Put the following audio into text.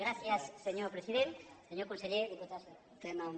gràcies senyor president senyor conseller diputats i diputades